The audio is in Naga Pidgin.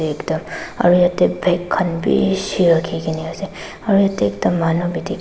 ekta aro yete bag kan bishiii raki kina ase aro yete ekta manu b diki.